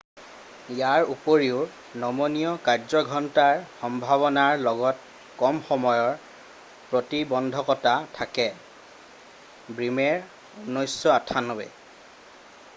ইয়াৰ উপৰিও নমনীয় কাৰ্যঘণ্টাৰ সম্ভাৱনাৰ লগত কম সময়ৰ প্ৰতিবন্ধকতা থাকে। ব্ৰিমেৰ 1998